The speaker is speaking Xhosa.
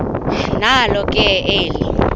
nalo ke eli